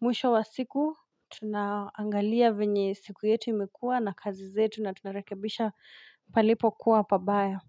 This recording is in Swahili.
mwisho wa siku Tunaangalia venye siku yetu imekuwa na kazi zetu na tunarekebisha palipo kuwa pabaya.